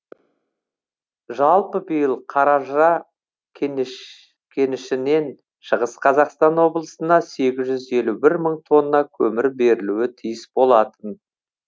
жалпы биыл қаражыра кенішінен шығыс қазақстан облысына сегіз жүз елу бір мың тонна көмір берілуі тиіс болатын